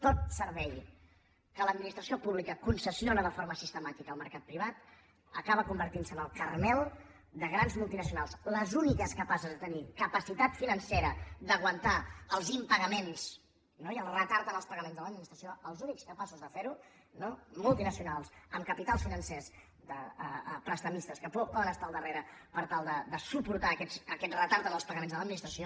tot servei que l’administració pública concessiona de for·ma sistemàtica al mercat privat acaba convertint·se en el caramel de grans multinacionals les úniques capa·ces de tenir capacitat financera d’aguantar els impa·gaments no i el retard en els pagaments de l’admi·nistració els únics capaços de fer·ho multinacionals amb capitals financers de prestamistes que poden es·tar al darrere per tal de suportar aquest retard en els pagaments de l’administració